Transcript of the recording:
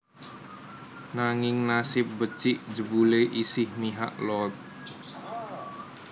Nanging nasib becik jebulé isih mihak Loeb